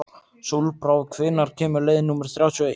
Sólbrá, hvenær kemur leið númer þrjátíu og eitt?